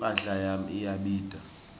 imphahla yami iyabita